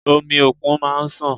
Omi òkun máa ń sàn.